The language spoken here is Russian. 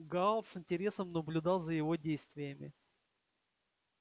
гаал с интересом наблюдал за его действиями